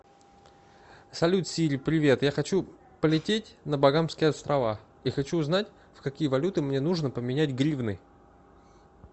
салют сири привет я хочу полететь на багамские острова и хочу узнать в какие валюты мне нужно поменять гривны